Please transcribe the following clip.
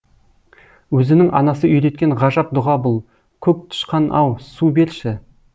өзінің анасы үйреткен ғажап дұға бұл көк тышқан ау су берші